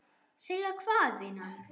Segja hvað, vinan?